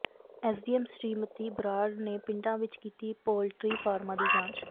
SDM Shrimati Brar ਨੇ ਪਿੰਡਾਂ ਵਿੱਚ ਕੀਤੀ ਪੋਲਟਰੀ ਫਾਰਮਾਂ ਦੀ ਜਾਂਚ